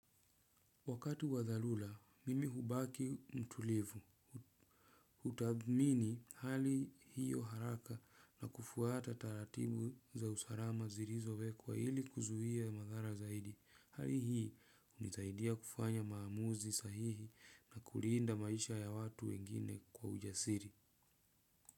Wakati wa dharura, mimi hubaki mtulivu. Hutathmini hali hiyo haraka na kufuata taratibu za usarama zirizo wekwa ili kuzuia madhara zaidi. Hali hii hunisaidia kufanya maamuzi sahihi na kulinda maisha ya watu wengine kwa ujasiri.